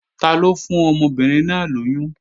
Taló fún ọmọbìnrin náà lóyún?